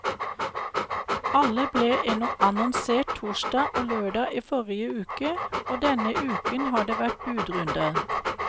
Alle ble annonsert torsdag og lørdag i forrige uke, og denne uken har det vært budrunder.